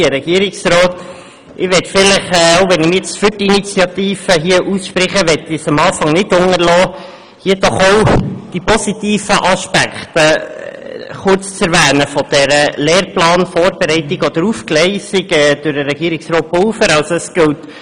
Auch wenn ich mich jetzt für die Initiative ausspreche, möchte ich es zu Beginn nicht unterlassen, hier doch auch kurz die positiven Aspekte dieser Lehrplanvorbereitung oder -aufgleisung durch Herrn Regierungsrat Pulver zu erwähnen.